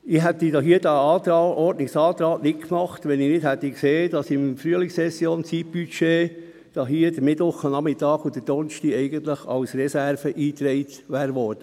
Ich hätte diesen Ordnungsantrag nicht gestellt, wenn ich nicht gesehen hätte, dass im Zeitbudget der Frühlingssession der Mittwochnachmittag und der Donnerstag als Reserve eingetragen wurden.